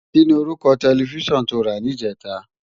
Kini órúkò tèlèfisán tó rá nijètá?